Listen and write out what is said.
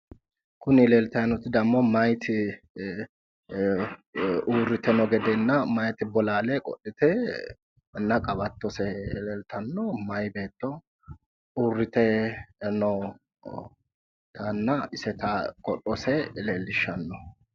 Kun leelitayi nooti damo mayiti urite no gedena mayiti bolaale qodhite na qawatose leelitan, mayi beeto urite nootana iseta qodhose leelishano